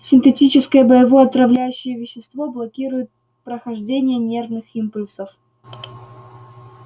синтетическое боевое отравляющее вещество блокирует прохождение нервных импульсов